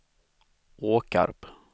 Åkarp